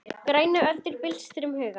Grænar öldur byltust um hugann.